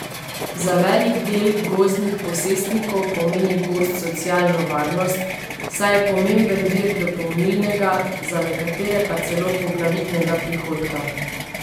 Za velik del gozdnih posestnikov pomeni gozd socialno varnost, saj je pomemben vir dopolnilnega, za nekatere pa celo poglavitnega prihodka.